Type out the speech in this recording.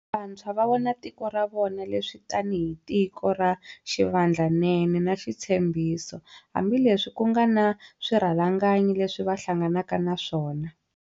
Vantshwa va vona tiko ra va vona leswi tanihi tiko ra xivandla nene na xitshembiso, hambile swi ku nga na swirhalanganyi leswi va hlanganaka na swona.